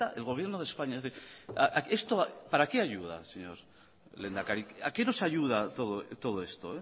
que eta el gobierno de españa es decir esto para qué ayuda señor lehendakari a qué nos ayuda todos esto